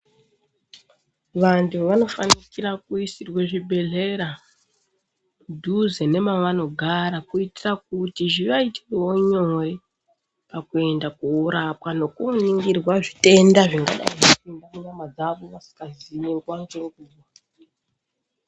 Vantu vanofanikira kuisirwe zvibhedhlera padhuze nemavanogara. Kuitira kuti zvivaitirevo nyore pakuenda korapwa nekoningirwa zvitenda zvingadai zviipinda munyama dzavo vasikazii nguva nenguva.